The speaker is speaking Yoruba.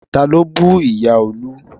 Ta ló bú ìyá Olú?